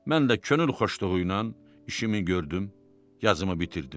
Mən də könül xoşluğu ilə işimi gördüm, yazımı bitirdim.